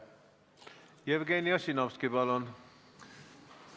Jevgeni Ossinovski, palun!